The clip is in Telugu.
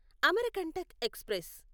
అమరకంటక్ ఎక్స్ప్రెస్